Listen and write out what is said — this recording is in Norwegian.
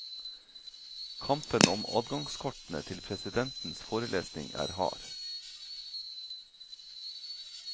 Kampen om adgangskortene til presidentens forelesning er hard.